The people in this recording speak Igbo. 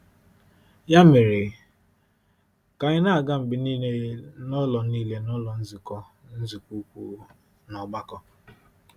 Ya mere, ka anyị na-aga mgbe niile n’ụlọ niile n’ụlọ nzukọ, nzukọ ukwu, na ọgbakọ.